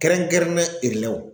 Kɛrɛnkɛrɛnnen erelɛw.